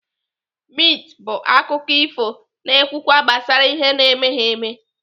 Mit bụ akụkọ ifo na-ekwukwa gbasara ihe na-emeghi eme.